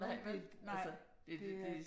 Nej, vel? Altså det det